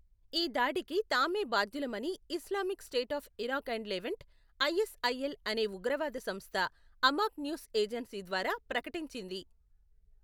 ఈ దాడికి తామే బాధ్యులమని Islamic State of Iraq and Levant , ISIL అనే ఉగ్రవాద సంస్థ అమాక్ న్యూస్ ఏజెన్సీ ద్వారా ప్రకటించింది.